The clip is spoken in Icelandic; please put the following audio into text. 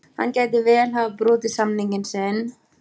Hann gæti vel hafa brotið samning sinn.